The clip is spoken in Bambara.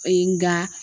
Ee nga